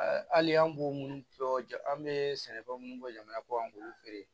Hali an b'o minnu bɔ an bɛ sɛnɛfɛn munnu bɔ jamana kɔ kan an k'olu feere